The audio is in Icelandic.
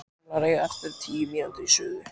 Kartöflurnar eiga eftir tíu mínútur í suðu.